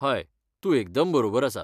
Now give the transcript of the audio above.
हय, तूं एकदम बरोबर आसा.